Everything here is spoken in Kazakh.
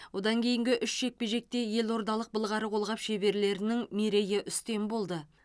одан кейінгі үш жекпе жекте елордалық былғары қолғап шеберлерінің мерей үстем болды